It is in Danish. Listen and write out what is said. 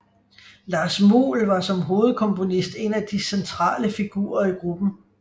Lars Muhl var som hovedkomponist en af de centrale figurer i gruppen